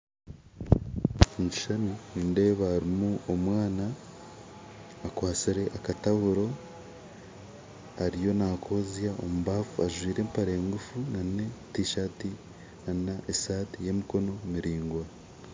Omukishushani nindeeba harumu omwaana akwatsire akatawuro ariyo nakozya omubaffu ajwaire empare ngufu na tisati n'esati yemikono miringwa.